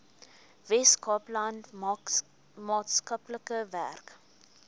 weskaapland maatskaplike werk